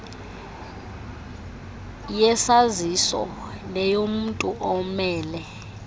yesaziso neyomntu omele